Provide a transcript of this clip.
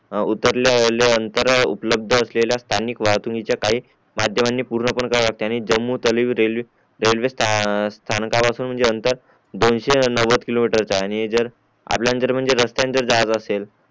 उतरल्या लय नंतर उपलाभदा असलेल्या स्थानिक वाहतुकीच्या काही माध्यमांनी पूर्ण पण करावे लागते आणि जम्मूतवि रेल्वे रेल्वे स्थानक पासून चे आंतर दोनशे नवद्द किलोमीटर चा आहे आणि जर आपल्याला म्हणजे रस्त्यानी जर जायचे असेल